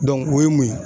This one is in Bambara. o ye mun ye